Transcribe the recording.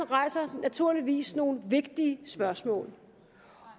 rejser naturligvis nogle vigtige spørgsmål